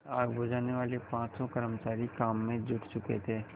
आग बुझानेवाले पाँचों कर्मचारी काम में जुट चुके थे